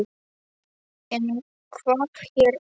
En hvað er hér?